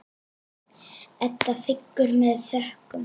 Edda þiggur það með þökkum.